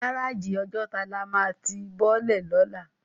Gáráji Òjòtá lá má ti bòlè lólà